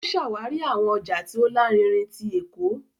O ṣawari awọn ọja ti o larinrin tí Ékò